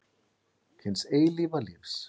Hins eilífa lífs.